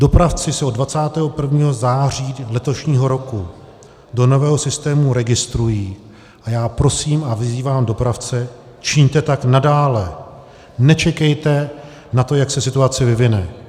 Dopravci se od 21. září letošního roku do nového systému registrují a já prosím a vyzývám dopravce, čiňte tak nadále, nečekejte na to, jak se situace vyvine.